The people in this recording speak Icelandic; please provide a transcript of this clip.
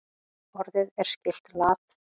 Orðið er skylt lat.